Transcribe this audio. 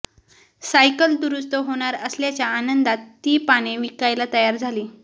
cycle दुरुस्त होणार असल्याच्या आनंदात ती पाने विकायला तयार झाली